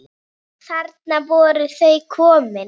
Þarna voru þau komin.